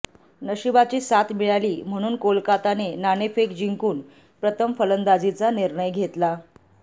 नशिबाची साथ मिळाली म्हणून कोलकाताने नाणेफेक जिंकून प्रथम फलंदाजीचा निर्णय घेतला